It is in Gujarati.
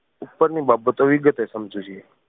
ઉપર ની બાબતો વિગતે સમજવવી જોઈએ.